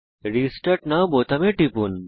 restart now বোতামে টিপুন